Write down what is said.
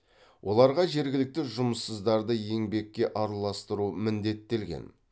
оларға жергілікті жұмыссыздарды еңбекке араластыру міндеттелген